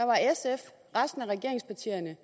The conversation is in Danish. resten af regeringspartierne